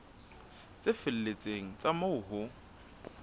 tse felletseng tsa moo ho